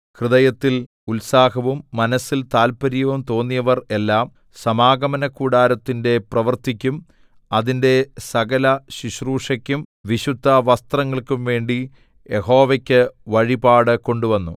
ഹൃദയത്തിൽ ഉത്സാഹവും മനസ്സിൽ താത്പര്യവും തോന്നിയവർ എല്ലാം സമാഗമനകൂടാരത്തിന്റെ പ്രവൃത്തിയ്ക്കും അതിന്റെ സകലശുശ്രൂഷയ്ക്കും വിശുദ്ധവസ്ത്രങ്ങൾക്കും വേണ്ടി യഹോവയ്ക്ക് വഴിപാട് കൊണ്ടുവന്നു